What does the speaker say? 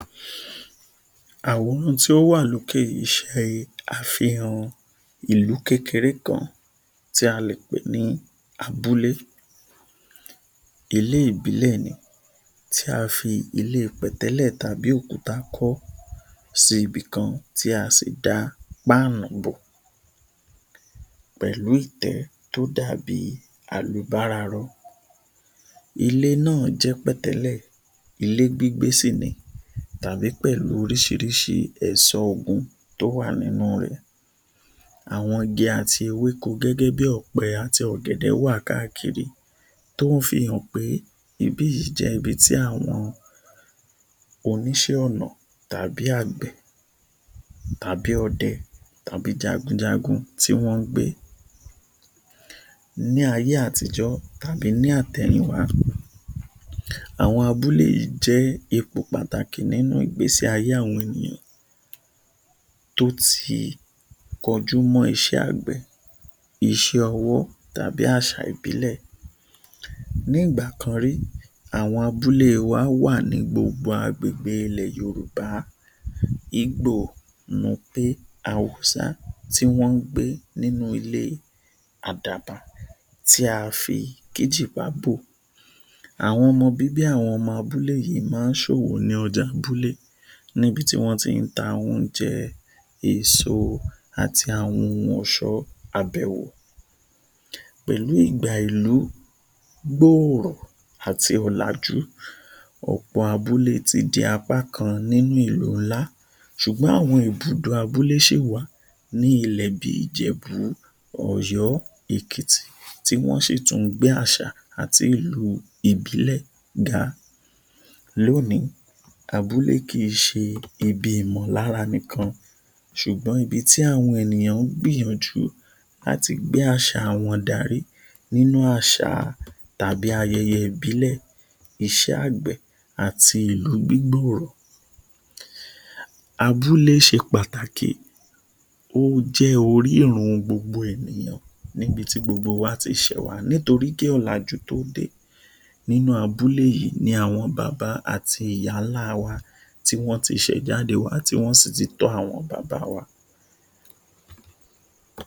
Àwúrù tí ó wà lókè yìí láti ṣe àfihàn ìlú kékeré kan tí a lè pè ní Abúlé, ilé ìbílẹ̀ ni tí a fi ilé pẹ̀tẹ́lẹ̀ tàbí òkúta kọ́ síbi kan tí a sì da páánù bò pẹ̀lú ìtẹ́ tí ó dá bí alùbararọ. Ilé náà jẹ ilé pẹ̀tẹ́lẹ̀ ilé gbígbé sì ni tàbí pẹ̀lú oríṣiríṣi ẹ̀ṣọ́ oògùn tí ó wà nínú rẹ, àwọn igi àti ewéko gẹ́gẹ́ bí ọ̀pẹ àti ọ̀gẹ̀dẹ̀ wà káàkiri tí ó fi hàn pé ibi yìí jẹ ibi tí àwọn oníṣẹ́ ọnà tàbí agbẹ̀ tàbí ọdẹ tàbí jagunjagun tí wọn ń gbé. Ní ayé àtijó, tàbí ní àtẹyìn wà, àwọn abúlé yìí jẹ ipò pàtàkì nínú ìgbésí ayé àwọn ènìyàn tí ó ti kọjú mọ́ iṣẹ́ agbẹ̀, iṣẹ́ ọwọ́ tàbí àṣà ìbílẹ̀. Ní ìgbà kan rí, àwọn abúlé wá wà ní gbogbo àgbègbè ilẹ̀ Yorùbá, Ígbò, Núpe, Haúsá, tí wọn ń gbé nínú ilé àdabà tí a fi kíjípà bò. Àwọn ọmọ bíbí ilẹ̀ abúlé yìí, máa ń ṣòwò ni ọjà abúlé níbi tí wọn tá àwọn oúnjẹ, èso àti àwọn ohun ọ̀ṣọ́ àbẹwò pẹ̀lú ìgbà ìlú gbóòrọ́ àti ọ̀làjú, ọ̀pọ̀ abúlé tí di apá kan nínú ìlú ńlá, ṣùgbọ́n àwọn ibùdó abúlé ṣí wà ní ilẹ̀ bí Ìjẹ̀bú, Ọ̀yọ́, Èkìtì tí wọn ń ṣí tún gbé àṣà àti ìlú ìbílẹ̀ ga. Lónìí, abúlé kì í ṣe ibi ìmọ̀lára nìkan ṣùgbọ́n ibi tí àwọn ènìyàn ń gbìyànjú àti gbé àṣà wọn darí nínú àṣà tàbí ayẹyẹ ìbílẹ̀ iṣẹ́ agbẹ̀ àti ìlù dídúró. Abúlé ṣe pàtàkì, ó jẹ orírun gbogbo èèyàn níbi tí gbogbo wa ti ṣe wá nítorí kí ọ̀làjú tó dé, nínú abúlé yìí ni bàbá àti ìyá ńlá wa ti wọn ti ṣẹ̀ jáde wá ti wọn si tọ́ àwọn Bàbá wá.